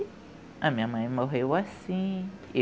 a minha mãe morreu assim.